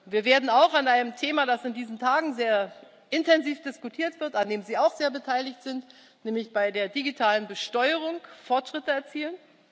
Wir werden auch an einem Thema, das in diesen Tagen sehr intensiv diskutiert wird, an dem Sie auch sehr beteiligt sind, nämlich bei der digitalen Besteuerung, Fortschritte erzielen.